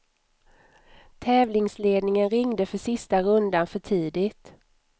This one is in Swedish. Tävlingsledningen ringde för sista rundan för tidigt.